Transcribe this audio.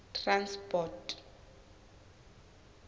transport